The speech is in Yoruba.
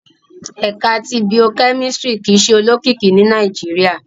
Ẹka ti Bio-kemistri kii ṣe olokiki ni Nàìjíríà